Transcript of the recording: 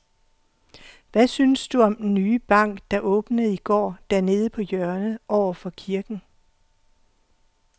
Hvad synes du om den nye bank, der åbnede i går dernede på hjørnet over for kirken?